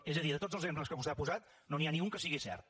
és a dir de tots els exemples que vostè ha posat no n’hi ha ni un que sigui cert